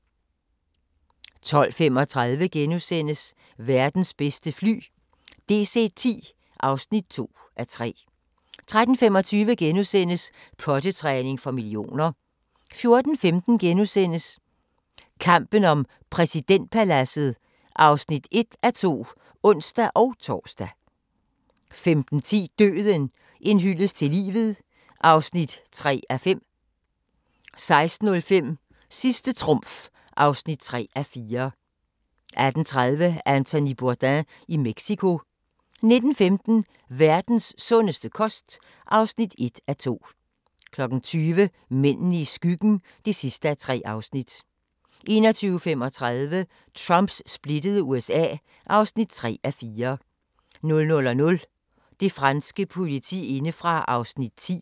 12:35: Verdens bedste fly – DC-10 (2:3)* 13:25: Pottetræning for millioner * 14:15: Kampen om præsidentpaladset (1:2)*(ons-tor) 15:10: Døden – en hyldest til livet (3:5) 16:05: Sidste trumf (3:4) 18:30: Anthony Bourdain i Mexico 19:15: Verdens sundeste kost (1:2) 20:00: Mændene i skyggen (3:3) 21:35: Trumps splittede USA (3:4) 00:00: Det franske politi indefra (10:12)